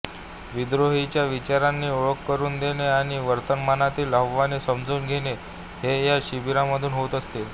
विद्रोहीच्या विचारांची ओळख करून देणे आणि वर्तमानातील आव्हाने समजून घेणे हे या शिबिरांमधून होत असते